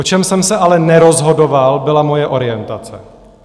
O čem jsem se ale nerozhodoval, byla moje orientace.